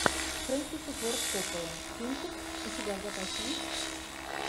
фрэнсис форд коппола кинчик у тебя в запасе есть